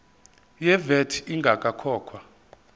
ye vat ingakakhokhwa